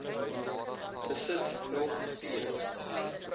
besit nog p